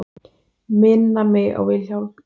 Minna mig á Vilhjálm.